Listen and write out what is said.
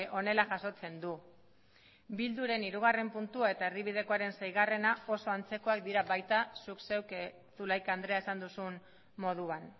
honela jasotzen du bilduren hirugarren puntua eta erdibidekoaren seigarrena oso antzekoak dira baita zuk zeuk zulaika andrea esan duzun moduan